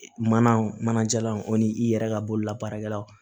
Mana mana jalan o ni i yɛrɛ ka bolola baarakɛlaw